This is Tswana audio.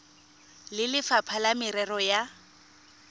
le lefapha la merero ya